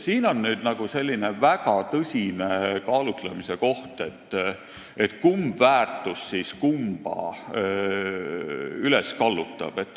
Siin on väga tõsine kaalutlemise koht, kumb väärtus kumma üles kallutab.